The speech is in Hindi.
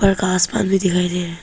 ऊपर का आसमान भी दिखाई दे रहा--